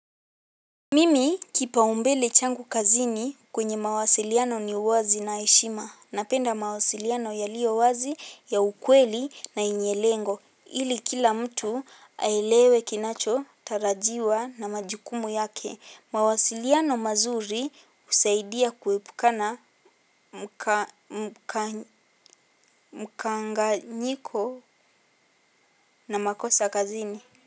Mimi kipaumbele changu kazini kwenye mawasiliyano ni uwazi na heshima napenda mawasiliyano yaliowazi ya ukweli na yenye lengo ili kila mtu aelewe kinachotarajiwa na majukumu yake mawasiliyano mazuri usaidia kwepukana mkanganyiko na makosa kazini.